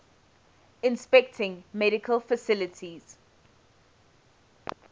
inspecting medical facilities